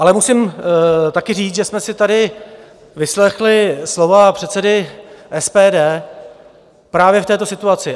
Ale musím taky říct, že jsme si tady vyslechli slova předsedy SPD právě k této situaci.